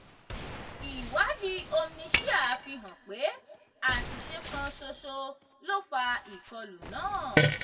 ìwádìí omniscia fi hàn pé àṣìṣe kan ṣoṣo ló fà ìkọlù náà.